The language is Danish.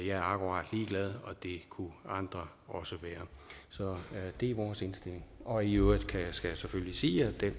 er akkurat ligeglad og det kunne andre også være så det er vores indstilling og i øvrigt skal jeg sige at det